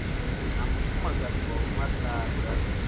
na mufumakadzi wa vho mathada